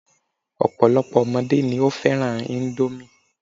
Ọ̀pọ̀lọ́pọ̀ ọmọdé ni ó fẹ́ràn índómì